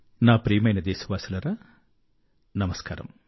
నా ప్రియమైన దేశవాసులారా నమస్కారము